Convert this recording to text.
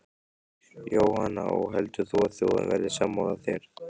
Jóhanna: Og heldur þú að þjóðin verði sammála þér?